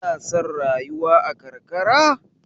Ka na son rayuwa a karkara?